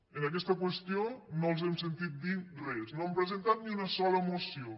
en aquesta qüestió no els hem sentit dir res no han presentat ni una sola moció